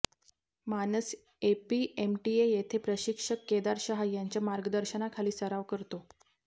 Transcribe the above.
मानस एपीएमटीए येथे प्रशिक्षक केदार शहा यांच्या मार्गदर्शनाखाली सराव करतो